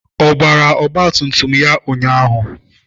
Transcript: Ọ gbara ọgba tum tum a ụnyaahụ?